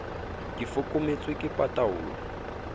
ke foko mmetso ke pataolo